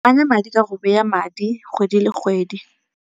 Ananya madi ka go beya madi kgwedi le kgwedi.